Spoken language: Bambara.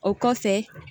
O kɔfɛ